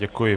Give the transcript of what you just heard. Děkuji.